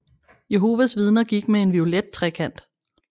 Jehovas Vidner gik med en violet trekant